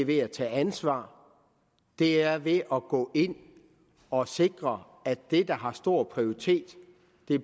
ved at tage ansvar og det er ved at gå ind og sikre at det der har stor prioritet